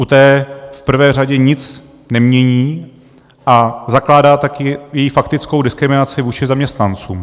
U té v prvé řadě nic nemění, a zakládá tak jejich faktickou diskriminaci vůči zaměstnancům.